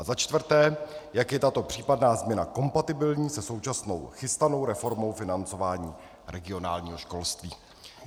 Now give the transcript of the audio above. A za čtvrté, jak je tato případná změna kompatibilní se současnou chystanou reformou financování regionálního školství.